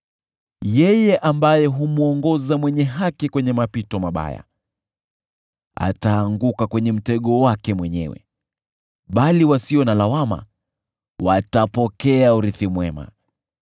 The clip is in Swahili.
Yeye ambaye humwongoza mwenye haki kwenye mapito mabaya, ataanguka kwenye mtego wake mwenyewe, bali wasio na lawama watapokea urithi mwema.